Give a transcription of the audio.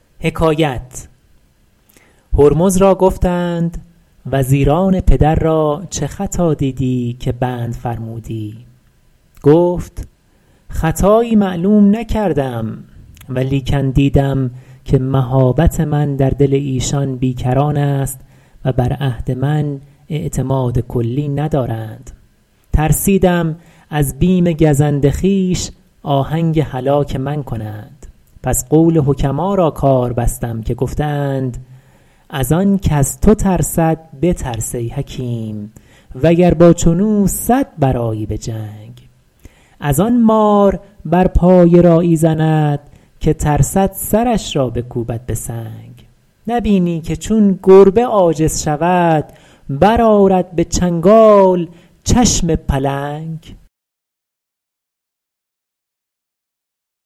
هرمز را گفتند وزیران پدر را چه خطا دیدی که بند فرمودی گفت خطایی معلوم نکردم ولیکن دیدم که مهابت من در دل ایشان بی کران است و بر عهد من اعتماد کلی ندارند ترسیدم از بیم گزند خویش آهنگ هلاک من کنند پس قول حکما را کار بستم که گفته اند از آن کز تو ترسد بترس ای حکیم وگر با چون او صد برآیی به جنگ از آن مار بر پای راعی زند که ترسد سرش را بکوبد به سنگ نبینی که چون گربه عاجز شود برآرد به چنگال چشم پلنگ